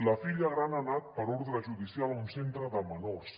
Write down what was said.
la filla gran ha anat per ordre judicial a un centre de menors